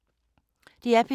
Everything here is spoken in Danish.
DR P3